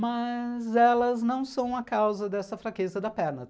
Mas elas não são a causa dessa fraqueza da perna.